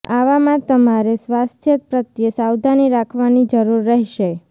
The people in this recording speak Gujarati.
આવામાં તમારે સ્વાસ્થ્ય પ્રત્યે સાવધાની રાખવાની જરૂર રહેશે